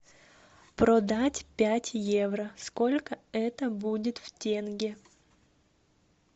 продать пять евро сколько это будет в тенге